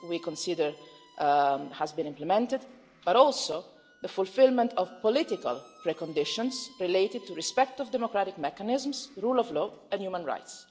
we consider that these have been implemented but also the fulfilment of political preconditions related to respect for democratic mechanisms, the rule of law and human rights.